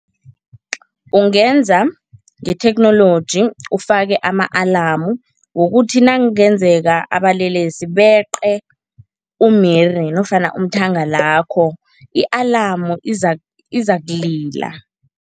Ungenza ngetheknoloji, ufake ama-alarm wokuthi nakungenzeka abalelesi beqe umiri nofana umthangalakho, i-alarm izakulila.